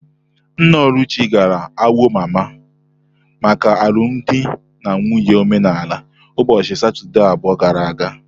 Nna Oluchi gara Awo-Mama maka alụmdi na nwunye omenala ụbọchị Satọdee abụọ gara aga.